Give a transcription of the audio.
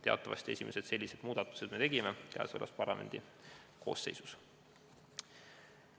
Teatavasti oleme esimesed sellised muudatused teinud käesolevas parlamendi koosseisus.